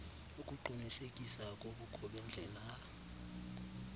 ukuqunisekisa kobukho bendlela